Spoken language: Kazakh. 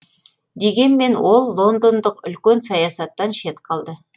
дегенмен ол лондондық үлкен саясаттан шет қалды